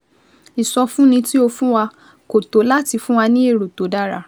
Ìsọfúnni tí o fún wa kò tó láti fún wa ní èrò tó dára